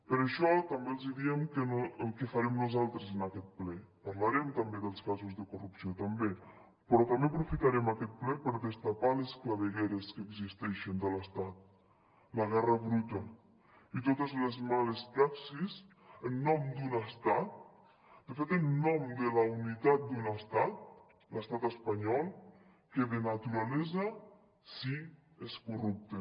per això també els diem el que farem nosaltres en aquest ple parlarem també dels casos de corrupció també però també aprofitarem aquest ple per destapar les clavegueres que existeixen de l’estat la guerra bruta i totes les males praxis en nom d’un estat de fet en nom de la unitat d’un estat l’estat espanyol que de naturalesa sí és corrupte